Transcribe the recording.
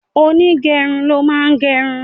Onígẹrun ló máa ń gerun